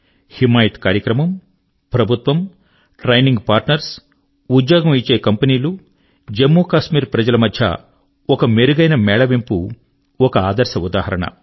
హిమాయత్ కార్యక్రమము ప్రభుత్వము training partner ఉద్యోగం ఇచ్చే కంపెనీలు మరియు జమ్ము కశ్మీర్ ప్రజల మధ్య ఒక మెరుగైన మేళవింపు ఒక ఆదర్శ ఉదాహరణ